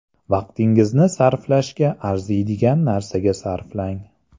Vaqtingizni sarflashga arziydigan narsaga sarflang.